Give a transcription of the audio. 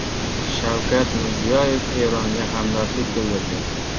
Shavkat Mirziyoyev Eronga hamdardlik bildirdi .